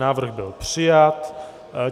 Návrh byl přijat.